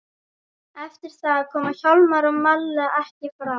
Eftir það koma Hjálmar og Malla ekki framar.